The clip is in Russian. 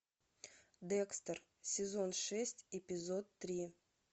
декстер сезон шесть эпизод три